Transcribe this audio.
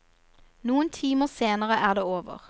Noen timer senere er det over.